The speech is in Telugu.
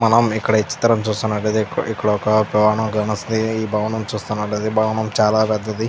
మనం ఇక్కడ ఈ చిత్రం చూస్తున్నట్లైతే ఇక్కడ ఇక్కడొక భవనం కానోస్తది ఈ భవనం చూస్తున్నట్లైతే ఈ భవనం చాలా పెద్దది.